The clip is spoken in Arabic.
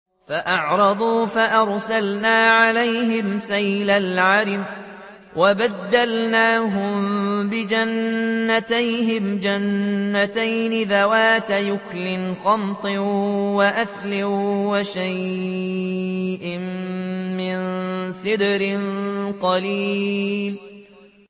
فَأَعْرَضُوا فَأَرْسَلْنَا عَلَيْهِمْ سَيْلَ الْعَرِمِ وَبَدَّلْنَاهُم بِجَنَّتَيْهِمْ جَنَّتَيْنِ ذَوَاتَيْ أُكُلٍ خَمْطٍ وَأَثْلٍ وَشَيْءٍ مِّن سِدْرٍ قَلِيلٍ